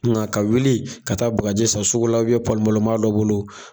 Nga ka wuli ka taa bagaji san sugu la u bɛn palon palon ma dɔ bolo